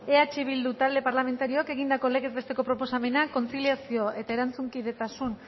eh bildu talde parlamentarioak egindako legez besteko proposamena kontziliazio eta erantzunkidetasun